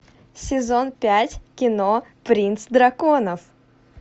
сезон пять кино принц драконов